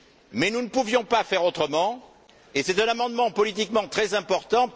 Mais nous ne pouvions pas faire autrement, et c'est un amendement politiquement très important.